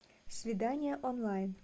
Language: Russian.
свидание онлайн